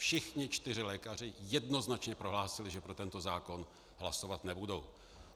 Všichni čtyři lékaři jednoznačně prohlásili, že pro tento zákon hlasovat nebudou.